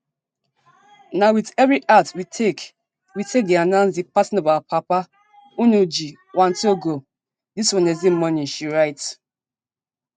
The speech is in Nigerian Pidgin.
na wit heavy heart we take we take dey announce di passing of our papa ngugi wa thiongo dis wednesday morning she write